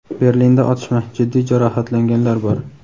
Berlinda otishma: jiddiy jarohatlanganlar bor.